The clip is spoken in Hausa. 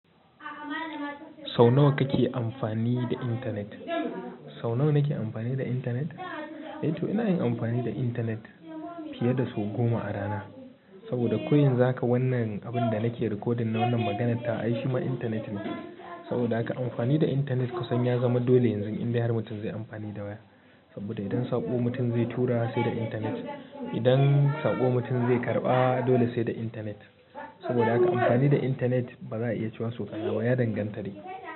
Sau nawa kake amfani da intanet? Sau nawa nake amfani da intanet? Eh to ina yin amfani da intanet fiye da sau goma a rana. Saboda ko yanzu haka wannan abun da nake recording da wannan maganan ta ai shima intanet ne. Saboda haka amfani da intanet kasancewa dole yanzu inda har mutum zai amfani da wa. Saboda idan sabo mutum zai tura sai da intanet. Idan saƙo mutum zai karɓa dole sai da intanet. Saboda aka amfani da intanet bazai iya ciwaso kanawa ya dangantare.